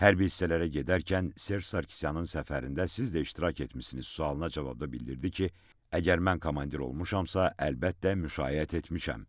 Hərbi hissələrə gedərkən Serj Sarkisyanın səfərində siz də iştirak etmisiniz sualına cavabda bildirdi ki, əgər mən komandir olmuşamsa, əlbəttə, müşayiət etmişəm.